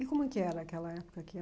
E como que era aquela época?